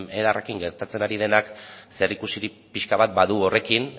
edarrekin gertatzen ari denak zerikusirik pixka bat badu horrekin